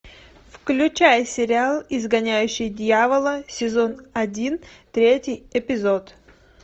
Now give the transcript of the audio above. включай сериал изгоняющий дьявола сезон один третий эпизод